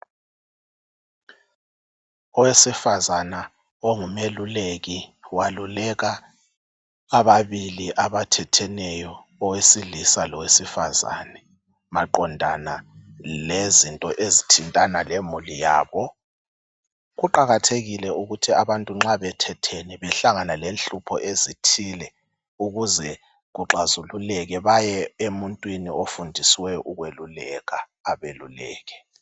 Owesifazana ongumeluleki waluleka ababili abathetheneyo owesilisa lowesifazane maqondana lezinto ezithintana lemuli yabo. Kuqakathekile ukuthi abantu nxa bethethene behlangana lenhlupho ezithile ukuze kuxazululeke baye emuntwini ofundisiweyo ukweluleka abeluleke.